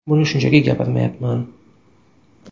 Buni shunchaki gapirmayapman.